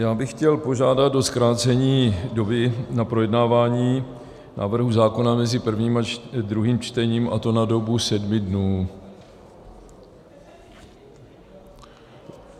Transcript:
Já bych chtěl požádat o zkrácení doby na projednávání návrhu zákona mezi prvním a druhým čtením, a to na dobu sedmi dnů.